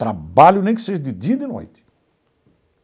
Trabalho nem que seja de dia e de noite.